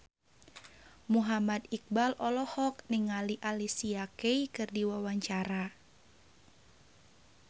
Muhammad Iqbal olohok ningali Alicia Keys keur diwawancara